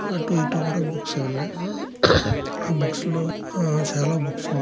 అటు ఇటు కూడా బుక్స్ ఏ ఉన్నాయ్. ఆ బుక్స్ లో ఆ చాలా బుక్స్ ఉన్నాయ్.